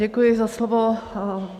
Děkuji za slovo.